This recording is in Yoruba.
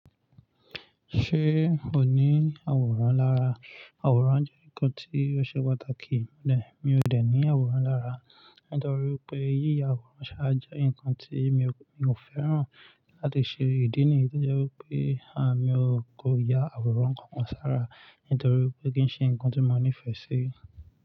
Ṣé ò ní àwòrán lára? Àwòrán jẹ́ nǹkan tí ó ṣe pàtàkì, nè, mi ò dẹ̀ ní àwòrán lára. Nítorí pé yíya àwòrán ṣaa jẹ ǹkan tí mi ò, mi ò fẹ́ràn láti ṣe ìdí nìyí tó jẹ́ wí pé, à, mi ò kó ya àwòrán kankan sára. Nítorí pé kí ń ṣe ǹkan tí mo nífẹ̀ẹ́ sí.